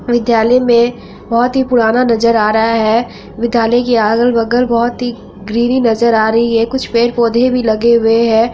विद्यालय में बहुत ही पुराना नजर आ रहा है विद्यालय के अगल-बगल बहुत ही ग्रीनरी नजर आ रही है कुछ पेड़-पौधे भी लगे हुए है।